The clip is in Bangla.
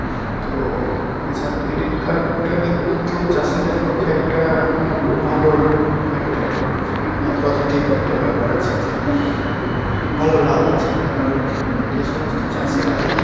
তো কৃষাণ credit card টা কিন্তু চাষীদের পক্ষে একটা হম ভালো একটা অ্যাঁ positive একটা ব্যাপার আছে যে অ ভালো লাগছে, কারণ যে সমস্ত চাষীরা